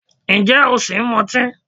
Ǹjẹ́ o ṣì ń mu ọtí?